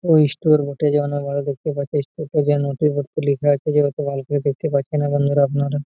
এই স্টোর বটে দেখতে পাচ্ছেন লিখা আছে ভাল করে দেখতে পাচ্ছেনা বন্ধুরা আপনারা --